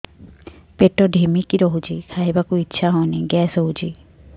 ପେଟ ଢିମିକି ରହୁଛି ଖାଇବାକୁ ଇଛା ହଉନି ଗ୍ୟାସ ହଉଚି